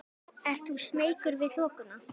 Ert þú smeykur við þokuna?